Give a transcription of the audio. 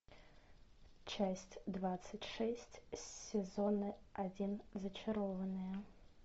часть двадцать шесть сезона один зачарованные